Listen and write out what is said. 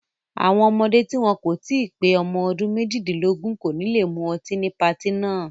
Àwọn ọmọdé tí wọn kò tí pé ọdún méjìdínlógún kò ní le mú ọtí ní patí náà.